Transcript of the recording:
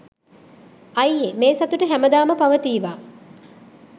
අයියෙ මේ සතුට හැමදාම පවතීවා